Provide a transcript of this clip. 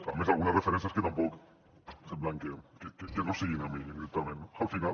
a més algunes referències que tampoc sembla que no siguin a mi directament al final